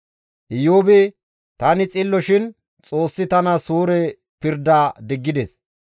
«Iyoobi, ‹Tani xillo shin Xoossi tana suure pirda diggides.